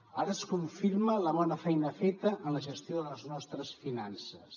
ara es confirma la bona feina feta en la gestió de les nostres finances